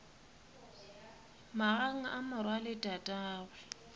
magang a morwa le tatagwe